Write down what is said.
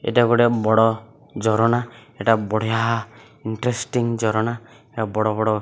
ଏଇଟା ଗୋଟେ ବଡ଼ ଝରଣା ଏଟା ବଢିଆ ଇନ୍ତ୍ରେଷ୍ଟିଂ ଝରଣା ଏହା ବଡ଼-ବଡ଼ --